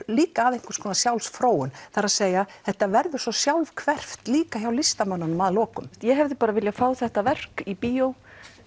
líka að einhvers konar sjálfsfróun það er að þetta verður svo sjálfhverft líka hjá listamönnunum að lokum ég hefði viljað fá þetta verk í bíó